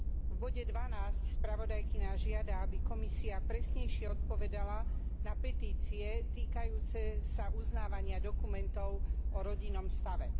V bode 12 spravodajkyňa žiada, aby Komisia presnejšie odpovedala na petície týkajúce sa uznávania dokumentov o rodinnom stave.